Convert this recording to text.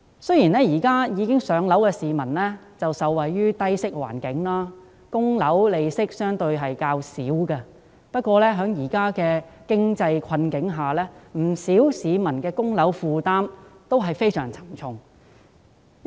雖然現時已置業的市民均受惠於低息環境，償還物業貸款的利息相對較少，但在現時的經濟困境下，不少市民均面對非常沉重的供樓負擔。